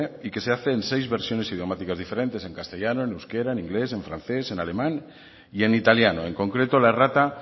y que se hace en seis versiones idiomáticas diferentes en castellano en euskera en inglés en francés en alemán y en italiano en concreto la errata